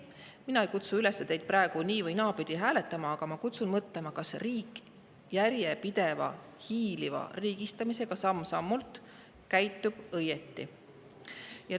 Mina ei kutsu teid praegu üles nii‑ või naapidi hääletama, aga ma kutsun mõtlema, kas riik järjepideva, hiiliva, samm-sammult riigistamisega käitub õigesti.